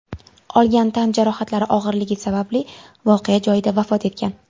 olgan tan jarohatlari og‘irligi sababli voqea joyida vafot etgan.